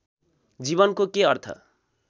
जीवनको के अर्थ